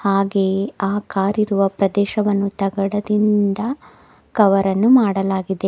ಹಾಗೆಯೇ ಆ ಕಾರ್ ಇರುವ ಪ್ರದೇಶವನ್ನು ತಗಡದಿಂದ ಕವರ್ ಅನ್ನು ಮಾಡಲಾಗಿದೆ.